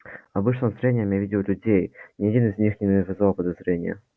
обычным зрением я видел людей ни один из них не вызывал подозрения